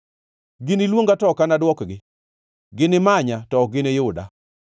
Giniluonga, to ok anadwokgi; ginimanya to ok giniyuda.